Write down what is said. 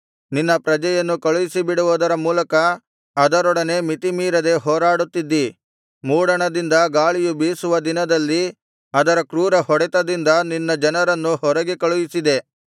ನಿನ್ನ ಪ್ರಜೆಯನ್ನು ಕಳುಹಿಸಿಬಿಡುವದರ ಮೂಲಕ ಅದರೊಡನೆ ಮಿತಿಮೀರದೆ ಹೋರಾಡುತ್ತಿದ್ದೀ ಮೂಡಣದಿಂದ ಗಾಳಿಯು ಬೀಸುವ ದಿನದಲ್ಲಿ ಅದರ ಕ್ರೂರ ಹೊಡೆತದಿಂದ ನಿನ್ನ ಜನರನ್ನು ಹೊರಗೆ ಕಳುಹಿಸಿದೆ